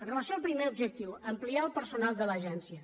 amb relació al primer objectiu ampliar el personal de l’agència